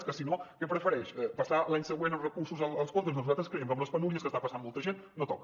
és que si no què prefereix passar l’any següent els recursos als comptes doncs nosaltres creiem que amb les penúries que està passant molta gent no toca